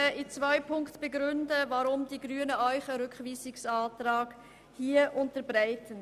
Ich werde in zwei Punkten begründen, weshalb die Grünen einen Rückweisungsantrag unterbreiten.